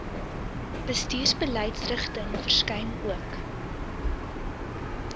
bestuursbeleidsrigtings verskyn ook